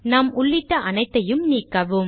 நாம் உள்ளிட்ட அனைத்தையும் நீக்கவும்